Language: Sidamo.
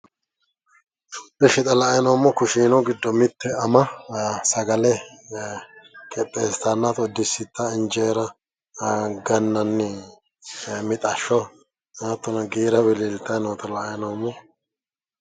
Ishshi xa la"ayi noommohu kushiinu giddo mitte ama sagale qixxeessitanna injeera gannanni mixashsho hattono giira wiliiltayi noota la"ayi noommo.